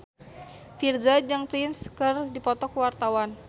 Virzha jeung Prince keur dipoto ku wartawan